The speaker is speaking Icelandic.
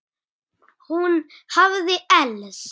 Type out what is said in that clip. Hún hafði elst.